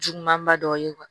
Jugumanba dɔ ye